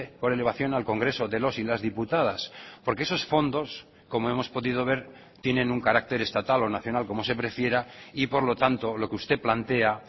por elevación al congreso de los y las diputadas porque esos fondos como hemos podido ver tienen un carácter estatal o nacional como se prefiera y por lo tanto lo que usted plantea